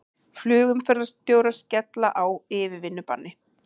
Flugumferðarstjórar skella á yfirvinnubanni